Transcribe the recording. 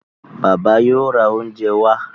Bàbá yóò rá oúnjẹ wá.